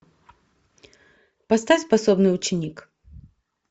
поставь способный ученик